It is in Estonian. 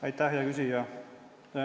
Aitäh, hea küsija!